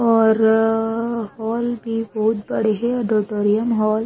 ऑररररररर hall भी बहुत बड़े हे ऑडिटोरियम हॉल --